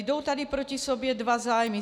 Jdou tady proti sobě dva zájmy.